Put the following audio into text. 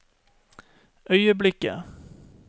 øyeblikket